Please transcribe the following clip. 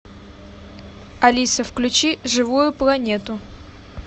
алиса включи живую планету